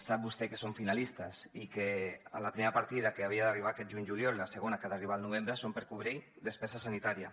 sap vostè que són finalistes i que la primera partida que havia d’arribar aquest juny juliol i la segona que ha d’arribar al novembre són per cobrir despesa sanitària